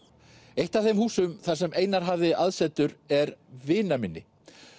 eitt af þeim húsum þar sem Einar hafði aðsetur er vinaminni